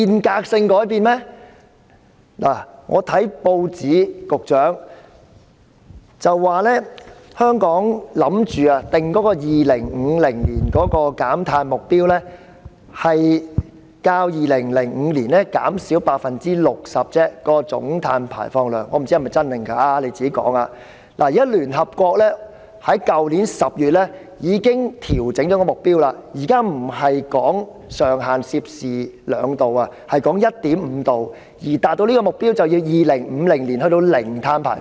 局長，我從報章知悉，香港打算制訂邁向2050年的總碳排放量目標為較2005年減少 60% 而已——我不知真或假，請他回應——但聯合國在去年10月已經調整目標，現時上限不再是 2°C， 而是 1.5°C， 而要達到這個目標，便要在2050年達致零碳排放。